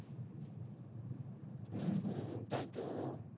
হম হম তাই তো